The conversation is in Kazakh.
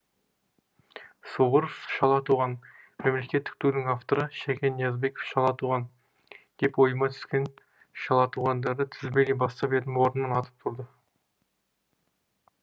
суворов шала туған мемлекеттік тудың авторы шәкен ниязбеков шала туған деп ойыма түскен шала туғандарды тізбелей бастап едім орнынан атып тұрды